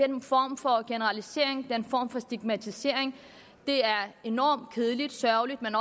den form for generalisering den form for stigmatisering er enormt kedelig og sørgelig men